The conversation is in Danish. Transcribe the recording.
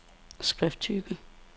skrifttype